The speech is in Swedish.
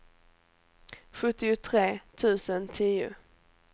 sjuttiotre tusen tio